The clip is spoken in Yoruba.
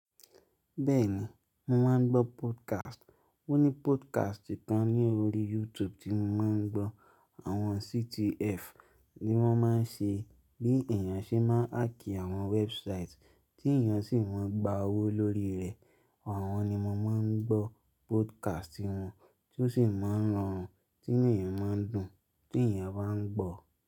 Bẹ́ẹ̀ni, mo máa ń gbọ́ podcast. Ó ní podcast kan ní orí YouTube tí mo máa ń gbọ́. Àwọn CTF ni wọ́n máa ń ṣe, bí èèyàn ṣe máa ń hack àwọn website, tí èèyàn sì máa ń gba owó lórí rẹ̀. Àwọn ni mo máa ń gbọ́ podcast wọn tó sì máa ń ran tí inu èèyàn máa ń dùn tí èèyàn bá ń gbọ̀